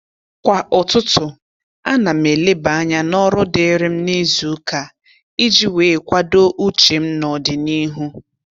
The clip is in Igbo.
Kwa ụtụtụ, a na m eleba anya n'ọrụ dịrị m n'izuụka iji wee kwado uche m n'ọdịnihu